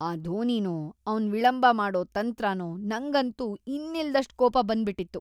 ಆ ಧೋನಿನೋ ಅವ್ನ್ ವಿಳಂಬ ಮಾಡೋ ತಂತ್ರನೋ, ನಂಗಂತೂ ಇನ್ನಿಲ್ದಷ್ಟ್‌ ಕೋಪ ಬಂದ್ಬಿಟಿತ್ತು.